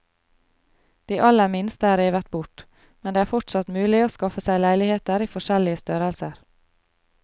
De aller minste er revet bort, men det er fortsatt mulig å skaffe seg leiligheter i forskjellige størrelser.